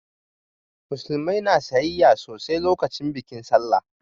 Musulmai na sayayya sosai lokacin bikin sallah